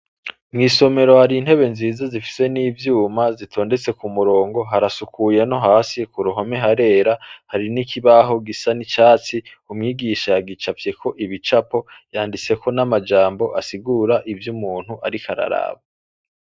Mw'isomero hari intebe nziza zifise n'ivyuma zitondetse ku murongo, harasukuye no hasi ku ruhome harera, hari n'ikibaho gisa n'icatsi, umwigisha yagicapfyeko ibicapo, yanditseko n'amajambo asigura ivy'umuntu ariko araraba.